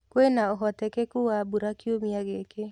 kwĩna ũhotekekũ wa mbũra kĩũmĩa gĩkĩ